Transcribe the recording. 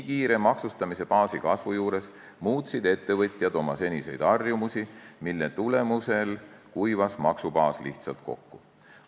Maksustamisbaasi nii kiire kasvu tõttu muutsid ettevõtjad oma seniseid harjumusi, mille tulemusel kuivas maksubaas lihtsalt kokku.